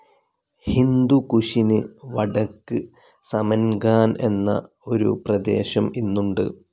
ഹിന്ദുകുഷിന് വടക്ക് സമൻ‌ഗാൻ എന്ന ഒരു പ്രദേശം ഇന്നുണ്ട്.